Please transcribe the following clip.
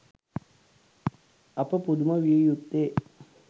අප පුදුම විය යුත්තේ